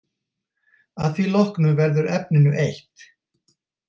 Að því loknu verður efninu eytt